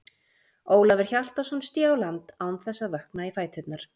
Ólafur Hjaltason sté á land án þess að vökna í fæturna.